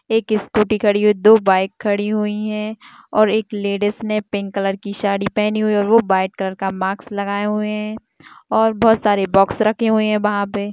एक स्कूटी खड़ी है दो बाइक खड़ी हुई है और एक लेडीस ने पिंक कलर की साड़ी पहनी हुई है और वो वाईट कलर का माक्स लगाए हुए हैं और बहुत सारे बॉक्स रखे हुए हैं वहाँ पे।